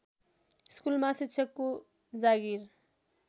स्कुलमा शिक्षकको जागिर